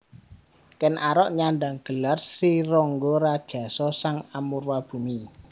Ken Arok nyandhang gelar Sri Rangga Rajasa Sang Amurwabhumi